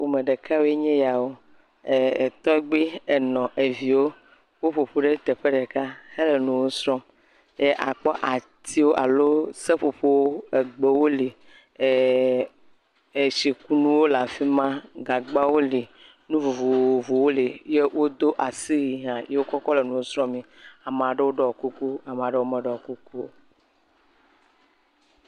Ƒome ɖeka woe nye eya wo, eeee..tɔgbe, enɔ, eviwo, woƒoƒu ɖe teƒe ɖeka hele nuwo srɔ̃m akpɔ atiwo alo egbewo, seƒoƒowo woli ee…etsikunuwo le afi ma, gagba woli, nu vovovowo li, eye wodo asiwui hã ye wokɔ kɔ le nuwo srɔ̃ mii, ame aɖewo ɖɔ kuku ame aɖewo meɖɔ kuku o.